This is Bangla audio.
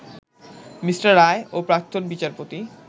মি. রায় ও প্রাক্তন বিচারপতি